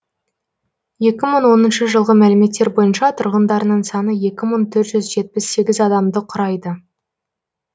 екі мың оныншы жылғы мәліметтер бойынша тұрғындарының саны екі мың төрт жүз жетпіс сегіз адамды құрайды